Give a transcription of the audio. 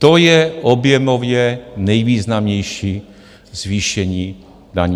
To je objemově nejvýznamnější zvýšení daní.